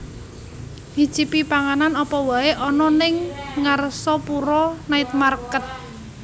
Nyicipi panganan opo wae ono ning Ngarsopuro Night Market